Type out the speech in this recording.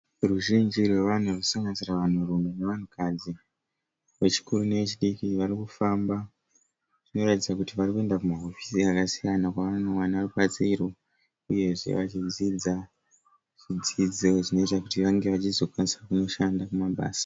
Ruzhinji rwavanhu rwunosanganisira vanhurume nevanhukadzi vechikuru nevechidiki vari kufamba. Vanoratidza kuti varikuenda kumahofisi akasiyana kwavanowana rubatsiro uyezve vachidzidza zvidzidzo zvinoita kuti vange vachizokwanisa kunoshanda kumabasa.